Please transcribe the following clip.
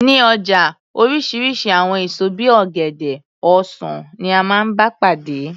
Ní ọjà oríṣiríṣi àwọn èso bí i ọ̀gẹ̀dẹ̀, ọsan ni a máa ń bá pàdé.